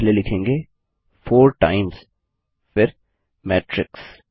हम पहले लिखेंगे 4 टाइम्स फिर मैट्रिक्स